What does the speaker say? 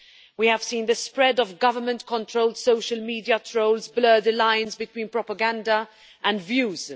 We have seen the spread of government controlled social media trolls blur the lines between propaganda and views.